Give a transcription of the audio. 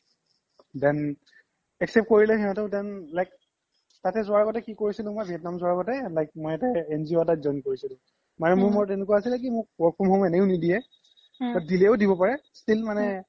then accept কৰিলে সিহ্তে then like তাতে জুৱাৰ আগ্তে কি কোৰিছিলো মোই vietnam জুৱাৰ আগ্তে like মই ,NGO এটাত join কৰিছিলো মানে মোৰ মনত এনেকুৱা আছিলে কি মোক work from home এনেও নিদিয়ে দিলেও দিব পাৰে still মানে